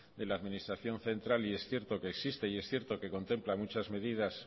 en la administración central y es cierto que existe y es cierto que contempla muchas medidas